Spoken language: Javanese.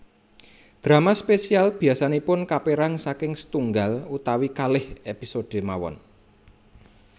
Drama spesial biasanipun kapèrang saking sètunggal utawi kalih episode mawon